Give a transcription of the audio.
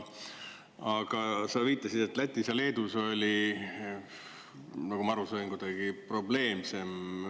Aga sa viitasid, et Lätis ja Leedus oli, nagu ma aru sain, kuidagi probleemsem.